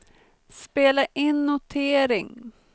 spela in notering